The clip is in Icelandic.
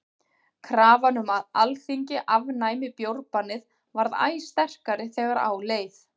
krafan um að alþingi afnæmi bjórbannið varð æ sterkari þegar á leið